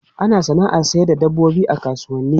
Ana sana'ar sayar da dabbobi a kasuwanni.